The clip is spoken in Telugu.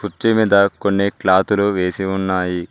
కుర్చీ మీద కొన్ని క్లాతులు వేసి ఉన్నాయి.